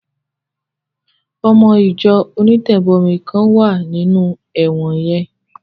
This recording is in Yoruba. Ọmọ Ìjọ onítẹ̀bọmi kan wà nínú ẹ̀wọ̀n yẹn